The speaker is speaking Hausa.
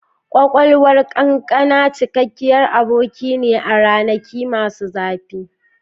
Ƙwaƙwalwar ƙanƙana, cikakkiyar aboki ne a ranaki masu zafi.